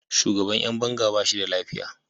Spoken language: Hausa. Shugaban ’yan banga ba shi da lafiya.